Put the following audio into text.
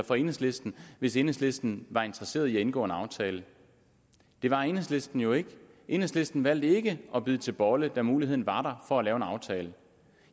for enhedslisten hvis enhedslisten var interesseret i at indgå en aftale det var enhedslisten jo ikke enhedslisten valgte ikke at bide til bolle da muligheden var for at lave en aftale